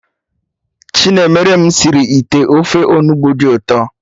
Chinemerem sịrị ite ofe Onugbu dị ụtọ